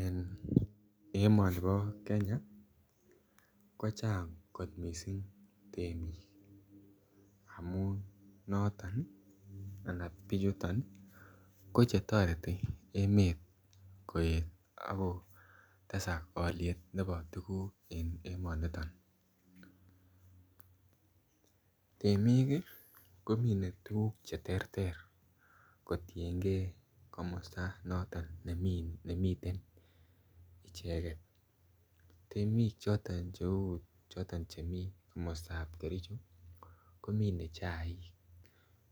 Eng emoni po Kenya kochang kot missing temik amu noton anan bichuton ko chetoreti emet koet ako tesak koliet nebo tukuk eng emoniton temik komine tukuk che ter ter kotiengei komosta noton nemiten icheget temiik choton cheu choton chemi komostap kericho ko minei chaik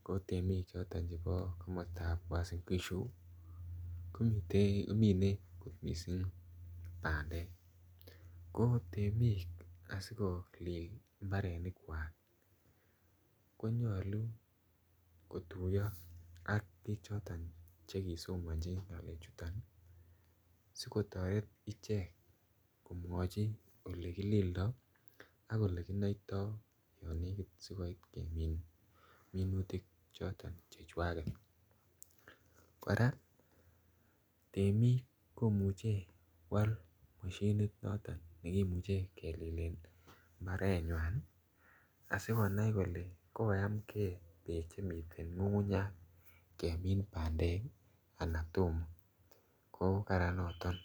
ko temik choton chebo komostap uasingishu kominei missing pandek ko temiik asikolil imbarenik kwak konyolu kotuyo ak biik choton chekisomonchi ng'alek chuton sikotoret ichek komwochin olekilildoi ak olekinoitoi yo lekit sikopit kemin minutik choton chekwaket kora temiik komuchei koal moshinit noton nekimuche kelilen mbaret nywan asikonai kole kokoyam keminse ng'ung'unyat kemin bandek anan tomo ko karan noton.